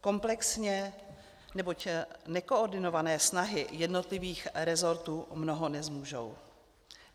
Komplexně, neboť nekoordinované snahy jednotlivých rezortů mnoho nezmůžou.